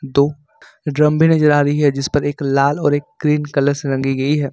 दो ड्रम भी नहीं जा रही है जिस पर एक लाल और एक ग्रीन कलर से रंगी गई है।